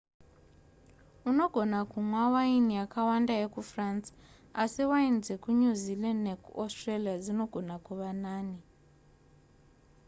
unogona kunwa waini yakawanda yekufrance asi waini dzekunew zealand nekuaustralia dzinogona kuva nani